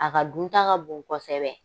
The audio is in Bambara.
A ka dun ta ka bon kosɛbɛ